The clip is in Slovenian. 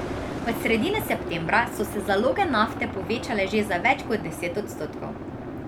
Od sredine septembra so se zaloge nafte povečale že za več kot deset odstotkov.